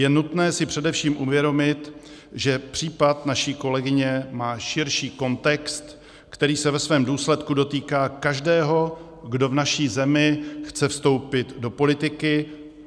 Je nutné si především uvědomit, že případ naší kolegyně má širší kontext, který se ve svém důsledku dotýká každého, kdo v naší zemi chce vstoupit do politiky.